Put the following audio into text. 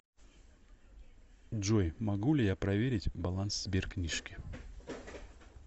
джой могу ли я проверить баланс сбер книжки